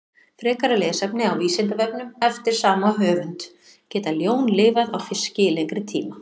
Frekara lesefni á Vísindavefnum eftir sama höfund: Geta ljón lifað á fiski í lengri tíma?